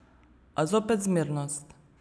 A zopet, zmernost.